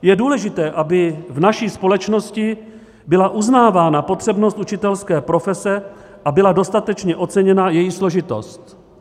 Je důležité, aby v naší společnosti byla uznávána potřebnost učitelské profese a byla dostatečně oceněna její složitost.